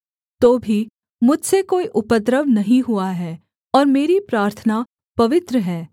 तो भी मुझसे कोई उपद्रव नहीं हुआ है और मेरी प्रार्थना पवित्र है